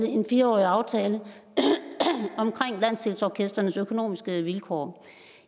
en fire årig aftale om landsdelsorkestrenes økonomiske vilkår